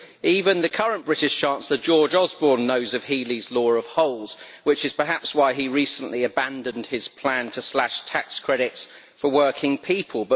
Even the current British Chancellor, George Osborne, knows of Healey's law of holes, which is perhaps why he recently abandoned his plan to slash tax credits for working people.